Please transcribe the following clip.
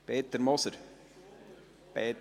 Peter Moser – Entschuldigung!